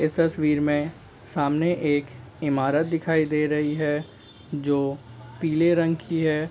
इस तस्वीर में सामने एक ईमारत दिखाई दे रही है जो पीले रंग की है।